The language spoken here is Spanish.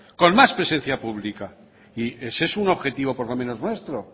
con más presencia pública y ese es un objetivo por lo menos nuestro